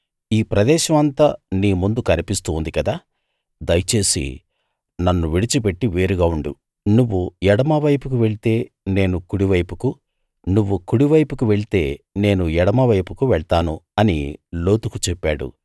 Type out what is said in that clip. ఈ ప్రదేశం అంతా నీ ముందు కనిపిస్తూ ఉంది కదా దయచేసి నన్ను విడిచిపెట్టి వేరుగా ఉండు నువ్వు ఎడమవైపు వెళ్తే నేను కుడివైపుకు నువ్వు కుడివైపుకు వెళ్తే నేను ఎడమవైపుకు వెళ్తాను అని లోతుకు చెప్పాడు